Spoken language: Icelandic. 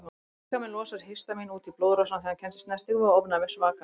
Líkaminn losar histamín út í blóðrásina þegar hann kemst í snertingu við ofnæmisvaka.